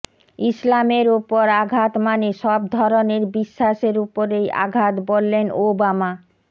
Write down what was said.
ইসলামের ওপর আঘাত মানে সব ধরনের বিশ্বাসের ওপরেই আঘাত বললেন ওবামা